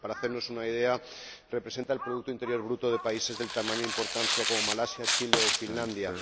Para hacernos una idea, representa el producto interior bruto de países del tamaño e importancia de Malasia, Chile o Finlandia.